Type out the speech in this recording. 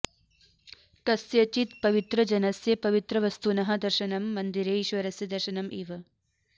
कस्यचित् पवित्रजनस्य पवित्रवस्तुनः दर्शनं मन्दिरे ईश्वरस्य दर्शनम् इव